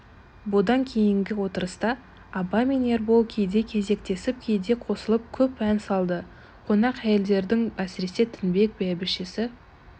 бұдан кейінгі отырыста абай мен ербол кейде кезектесіп кейде қосылып көп ән салды қонақ әйелдердің әсіресе тінбек бәйбішесі